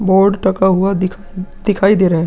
Board डका हुआ दिखाई -दिखाई दे रहे हैं।